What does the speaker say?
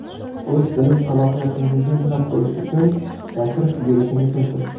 O‘z bilim salohiyatingizni sinab ko‘rish uchun tashrif buyurishingiz mumkin.